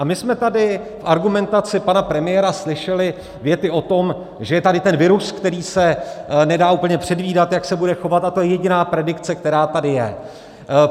A my jsme tady v argumentaci pana premiéra slyšeli věty o tom, že je tady ten virus, který se nedá úplně předvídat, jak se bude chovat, a to je jediná predikce, která tady je.